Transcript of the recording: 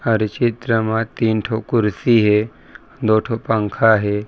अउर ये चित्र मा तीन ठो कुर्सी हे दो ठो पंखा हे।